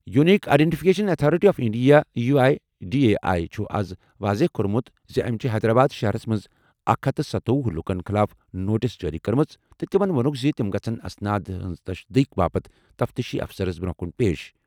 Unique identification authority of India U I D A I چھُ آز واضح کوٚرمُت زِ أمۍ چھِ حیدرآباد شہرَس منٛز اکھ ہتھ سَتوۄہُ لوٗکَن خٕلاف نوٹس جٲری کٔرمٕژ تہٕ تِمَن وونُکھ زِ تِم گژھَن اسناد ہٕنٛز تصدیٖق باپتھ تفتیشی افسرَس برٛونٛہہ کُن پیش.